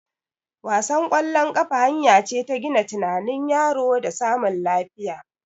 Wasan ƙwallon kafa hanya ce ta gina tunanin yaro da samun lafiya